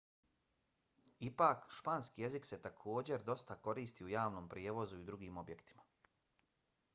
ipak španski jezik se također dosta koristi u javnom prijevozu i drugim objektima